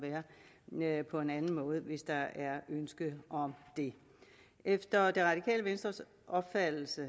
være på en anden måde hvis der er ønske om det efter det radikale venstres opfattelse